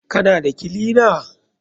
Kana da kilina?